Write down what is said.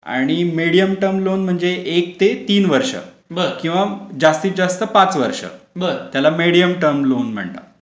आणि medium term loan म्हणजे एक ते तीन वर्ष किंवा जास्तीत जास्त पाच वर्ष त्याला मीडियम टर्म लोन म्हणतात.